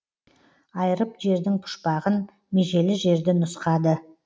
айырып жердің пұшпағын межелі жерді нұсқады